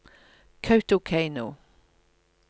Kautokeino